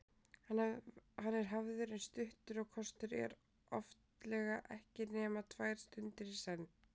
Hann er hafður eins stuttur og kostur er, oftlega ekki nema tvær stundir í senn.